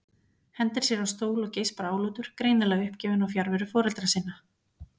Hendir sér á stól og geispar álútur, greinilega uppgefinn á fjarveru foreldra sinna.